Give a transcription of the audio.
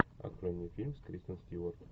открой мне фильм с кристен стюарт